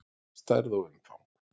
Stærð og umfang